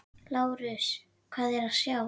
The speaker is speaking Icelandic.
LÁRUS: Hvað er að sjá?